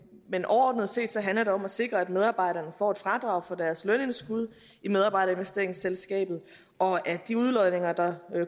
men overordnet set handler det om at sikre at medarbejderne får et fradrag for deres lønindskud i medarbejderinvesteringsselskabet og at de udlodninger der